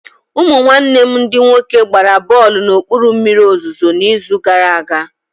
Ụmụ nwanne m ndị nwoke gbara bọlụ na okpuru mmiri ozuzo na izu gara aga